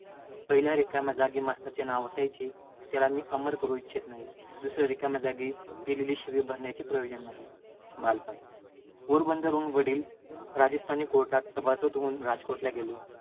पहिल्या रिकाम्या जागी मास्तराचे नाव असायचे. त्याला मी अमर करू इच्छित नाही. दुसया रिकाम्या जागी दिलेली शिवी भरण्याचे प्रयोजन नाही. पोरबंदरहून वडील राजस्थानी court चे सभासद होऊन राजकोटला गेले,